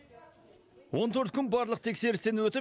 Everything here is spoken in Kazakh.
он төрт күн барлық тексерістен өтіп